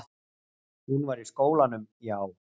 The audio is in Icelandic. Hún var í skólanum, já.